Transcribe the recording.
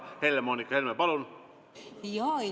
Helle-Moonika Helme, palun!